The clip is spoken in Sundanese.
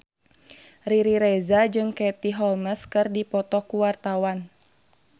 Riri Reza jeung Katie Holmes keur dipoto ku wartawan